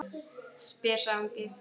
spyr sá ungi.